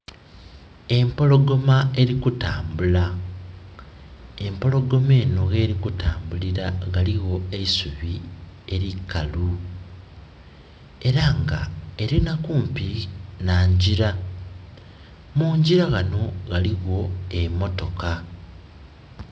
Empologoma eri kutambula, empologoma enho gheri kutambulira ghaligho eisubi eikalu era nga erinha kumpi na njira, munjira ghanho ghaligho emotoka.